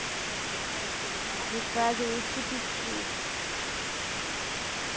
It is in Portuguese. Esse jacitara aquele lá o... Que faz o tipiti.